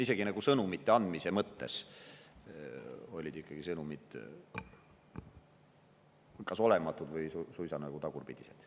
Isegi sõnumid olid kas olematud või suisa nagu tagurpidised.